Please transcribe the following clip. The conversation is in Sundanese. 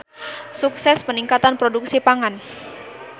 Sukses Peningkatan Produksi Pangan.